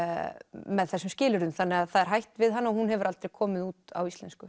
með þessum skilyrðum þannig að það er hætt við hana og hún hefur aldrei komið út á íslensku